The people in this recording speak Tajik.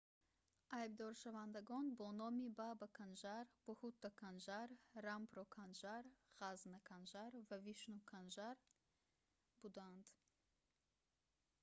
айбдоршавандагон бо номи баба канжар бҳутта канжар рампро канжар ғазза канжар ва вишну канжар буданд